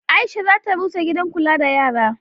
Aisha za ta rusa gidan kula da yara.